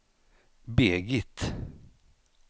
Birgit